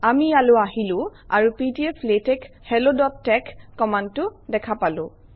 আমি ইয়ালৈ আহিলো আৰু pdflatexhelloতেশ কমাণ্ডটো দেখা পালো